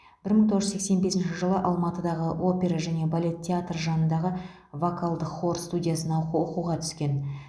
бір мың тоғыз жүз сексен бесінші жылы алматыдағы опера және балет театры жанындағы вокалдық хор студиясына оқуға түскен